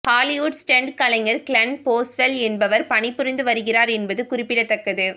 Hollywood stunt கலைஞர் Glenn Boswell என்பவர் பணிபுரிந்து வருகிறார் என்பது குறிப்பிடத்தக்கது